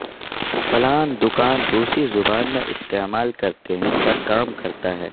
plan دکان روسی زبان میں استعمال کرتے ہیں پر کام کرتا ہے